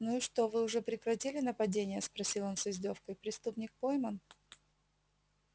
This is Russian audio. ну и что вы уже прекратили нападения спросил он с издёвкой преступник пойман